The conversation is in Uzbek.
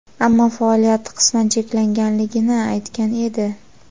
ammo faoliyati qisman cheklanganligini aytgan edi.